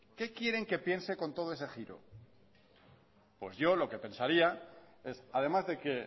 qué quieren que piense con todo ese giro pues yo lo que pensaría es además de que